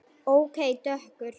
Og dökkur.